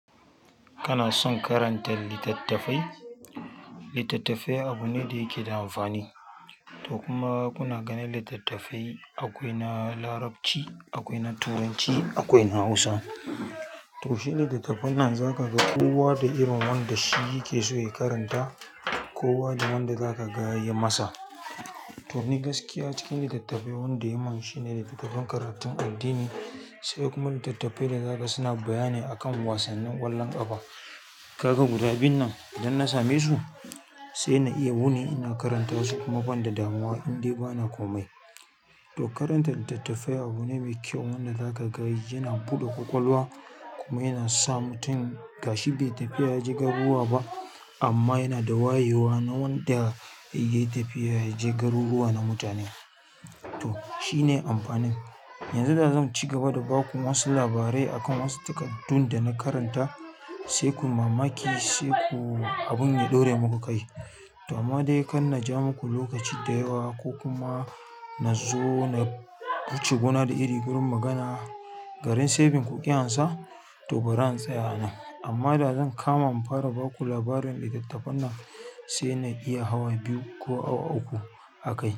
Kana son karanta littattafai? Ita tafiya abu ne da yake da amfani to kuma kuna ganin littattafai akwai na Larabci, akwai na Turanci, akwai na Hausa. To shi littattafan nan zaka ga kowa da irin wanda shi yake so ya karanta, kowa da wanda zaka ga yayi masa to ni gaskiya cikin littattafai wanda yamin shine littattafan karatun addini, sai kuma littattafai da naga suna bayani a kan wasannin ƙwallon ƙafa. Kaga guda biyun nan idan na same su sai na iya wuni ina karanta su kuma ban da damuwa indai bana komai. To karanta littattafai abu ne mai kyau wanda zaka ga yana buɗe ƙwaƙwalwa, kuma yana sa mutum gashi bai tafi ya je garuruwa ba amma yana da wayewa na wanda ya yi tafiya ya je garuruwa na mutane. To shi ne amfanin. Yanzu da zan ci gaba da baku wasu labarai akan wasu takaddun da na karanta sai ku yi mamaki, sai ku abun ya ɗore muku kai. To amma dai kar na ja muku lokaci da yawa ko kuma na zo na wuce gona da iri gurin magana, garin saving ku ƙi ansa to bari in tsaya a nan. Amma da zan kama in fara baku labarin littattafan nan sai na iya awa biyu ko awa uku akai.